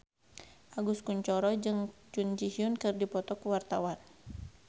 Agus Kuncoro jeung Jun Ji Hyun keur dipoto ku wartawan